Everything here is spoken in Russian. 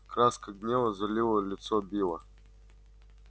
краска гнева залила лицо билла